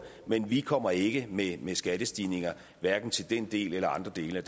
men vi kommer ikke med skattestigninger hverken til den del eller andre dele